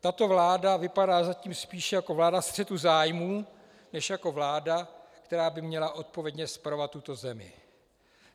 Tato vláda vypadá zatím spíše jako vláda střetu zájmů než jako vláda, která by měla odpovědně spravovat tuto zemi.